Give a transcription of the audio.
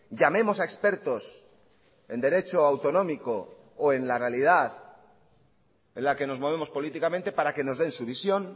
llamemos a expertos en derecho autonómico o en la realidad en la que nos movemos políticamente para que nos den su visión